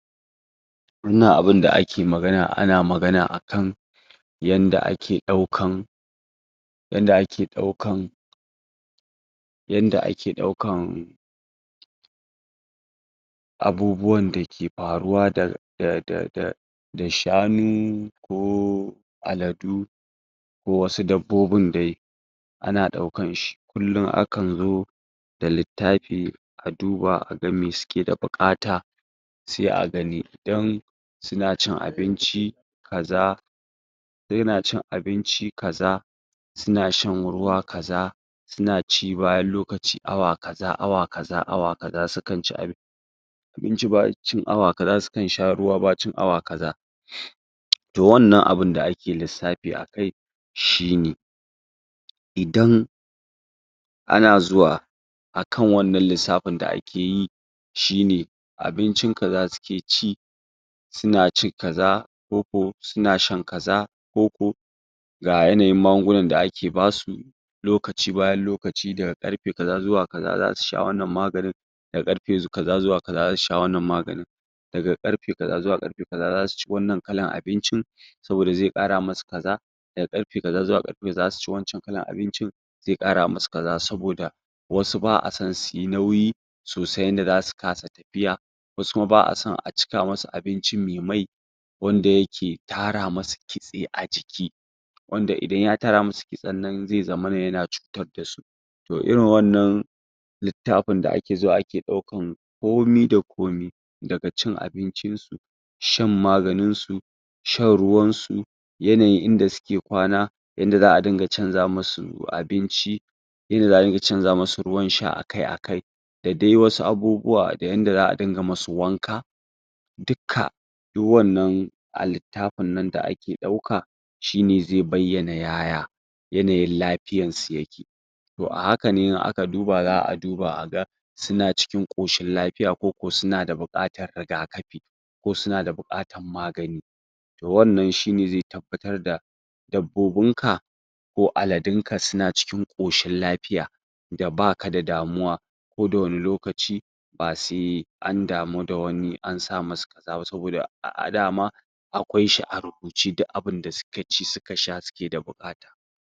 Wannan abunda a ke magana, ana magana a kan yanda a ke daukan yanda a ke daukan yanda ake daukan abubuwan da ke faruwa da da da da da shanu ko aladu ko wassu dabbobin dai ana daukan shi, kullum a kan zo da littafi a duba a gan mai su ke da bukata sai a gani, dan su na cin abinci, kaza dan ya na cin abinci kaza su na shan ruwa kaza su na ci bayan lokaci awa kaza, awa kaza, awa kaza su kan ci abin abinci ba wai cin awa kaza su kan sha ruwa ba cin awa kaza toh wannan abun da a ke lissafi akai shi ne idan ana zuwa akan wannan lisafin da a ke yi shi ne, abincin kaza su ke ci su na ci aza ko ko su ma shan kaza ko ko ga yanayin magungunan da ake ba su lokaci bayan lokaci da karfe kaza zuwa kaza za su sha wannan maganin da karfe kaza zuwa kaza za su sha wannan maganin da ga karfe kaza zuwa karfe kaza za su ci wannan kallan abincin saboda zai kara masu kaza da ga karfe kaza zuwa karfe za su ci wancan kalan abincin zai kara masu kaza saboda wasu baa san su yi nauyi sosai inda zasu kasa tafiya wasu kuma baa san a cika masu abinci mai mai wanda ya ke tara masu kitse a jiki wanda idan ya tara masu kitsen nan zai zamana ya na cutar da su toh irin wannan litaffin da a ke zo ake daukan komi da komi, da ga cin abincin su shan maganin su shan ruwan su, yanayin inda su ke kwana yanda zaa dinga canza masu abinci yanda zaa dinga canza masu ruwan sha akai akai da dai wasu abubuwa, da yanda zaa dinga masu wanka dukka, duk wannan a littafin nan da ake dauka shi ne zai bayana yaya yanayin lafiyan su ya ke toh a haka ne, in aka duba zaa duba a gan suna cikin koshin lafiya ko ko suna da bukatar rigakafi ko suna da bukatan magani toh wannan shi ne zai tabbatar da dabbobin ka ko aladun ka su na cikin koshin lapiya da ba ka da damuwa, ko da wani lokaci ba se an damu da wani an sa masa kaza saboda a a dama akwai shi a rubuce duk abunda su ka ci su ka sha su ke da bukata